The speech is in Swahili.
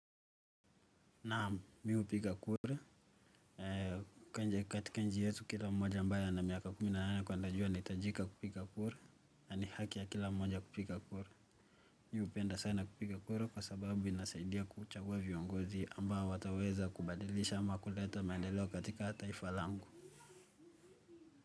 Naam, mi hupiga kura, kwenye katika nchi yetu kila mmoja ambaye ana miaka kumi na nane kwenda juu anahitajika kupiga kura na ni haki ya kila mmoja kupiga kura. Mi hupenda sana kupiga kura kwa sababu inasaidia kuchagua viongozi ambao wataweza kubadilisha ama kuleta maendeleo katika taifa langu.